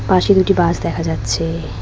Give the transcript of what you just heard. পাশে দুটি বাস দেখা যাচ্ছে।